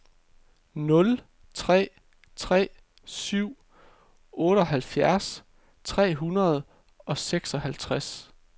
nul tre tre syv otteoghalvfjerds tre hundrede og seksoghalvtreds